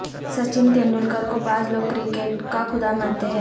سچن تیندلکر کو بعض لوگ کرکٹ کا خدا مانتے ہیں